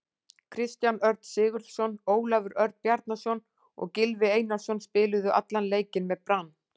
Kristján Örn Sigurðsson, Ólafur Örn Bjarnason og Gylfi Einarsson spiluðu allan leikinn með Brann.